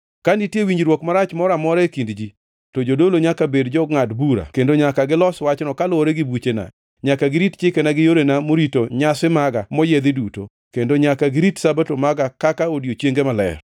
“ ‘Ka nitie winjruok marach moro amora e kind ji, to jodolo nyaka bed jongʼad bura kendo nyaka gilos wachno kaluwore gi buchena. Nyaka girit chikena gi yorena morito nyasi maga moyiedhi duto, kendo nyaka girit Sabato maga kaka odiechienge maler.